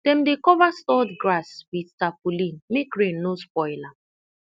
dem dey cover stored grass with tarpaulin make rain no spoil am